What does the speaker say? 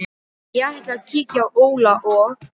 Ég ætla að kíkja á Óla og